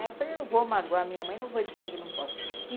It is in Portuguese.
Aí eu falei, eu não vou magoar a minha mãe, não vou dizer que não posso. e